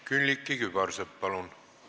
Külliki Kübarsepp, palun!